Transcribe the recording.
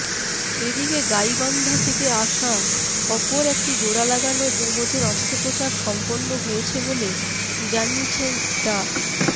এদিকে গাইবান্ধা থেকে আসা অপর একটি জোড়া লাগানো জমজের অস্ত্রোপচার সম্পন্ন হয়েছে বলে জানিয়েছেন ডা